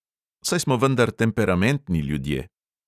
Saj smo vendar temperamentni ljudje!